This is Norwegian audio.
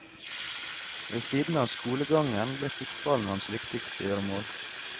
Ved siden av skolegangen ble fotballen hans viktigste gjøremål.